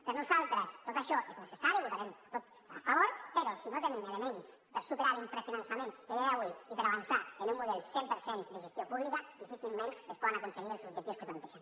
per nosaltres tot això és necessari votarem a tot a favor però si no tenim elements per superar l’infrafinançament que ja hi ha avui i per avançar en un model cent per cent de gestió pública difícilment es poden aconseguir els objectius que plantegen